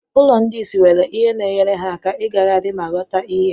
Ụlọ ndị isi nwere ihe na-enyere ha aka ịgagharị ma ghọta ihe.